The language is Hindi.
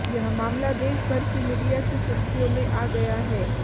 यह मामला देश भर की मीडिया की सुर्खियों में आ गया है